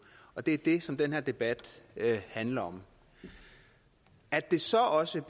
og det er det som den her debat handler om at det så også